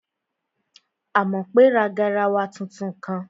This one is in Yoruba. Àmọ̀pé ra garawa tuntun kan